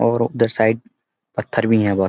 और उधर साईड पत्‍थर भी है बहोत ।